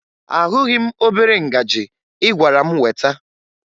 Ahụghị m obere ngaji ị gwara m weta